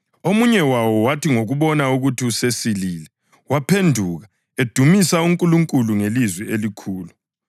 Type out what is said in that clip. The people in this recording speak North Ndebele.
Omunye wawo wathi ngokubona ukuthi usesilile waphenduka, edumisa uNkulunkulu ngelizwi elikhulu.